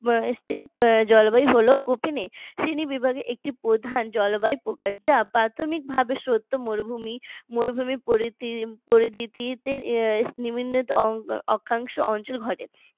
step জলবায়ু হলো কোপেনের শ্রেণীবিভাগের একটি প্রধান জলবায়ু প্রকার। যা প্রাথমিকভাবে সত্য মরুভূমি মরুভূমির পরিধিতে বিভিন্ন অক্ষাংশ অঞ্চল ঘটে